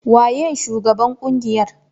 Waye shugaban ƙungiyar?